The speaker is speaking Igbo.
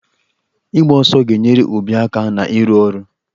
Ịgba ọsọ ga-enyere obi aka na-ịrụ ọrụ.